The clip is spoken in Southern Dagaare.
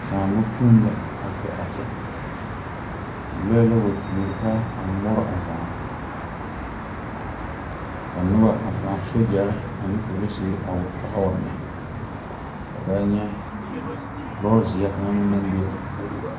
Saamo kpoŋ la a kpɛ a kyɛ lɔɛ la wa tuori taa a ŋmore a zaa ka noba a paa sogyɛre ane polisire a wa ka ba wa nyɛ a n nyɛ lɔzeɛ kaŋ meŋ naŋ be a puoriŋ.